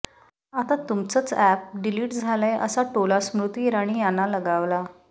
आता तुमचंच app delete झालंय असा टोला स्मृती इराणी यांना लगावला